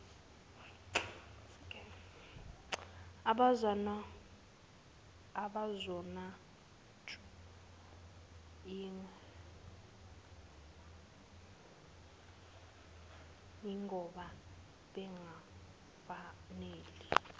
abazonatshwa ingoba bengafanele